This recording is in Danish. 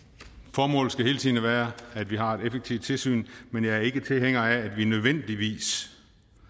formålet skal hele tiden være at vi har et effektivt tilsyn men jeg er ikke tilhænger af at vi nødvendigvis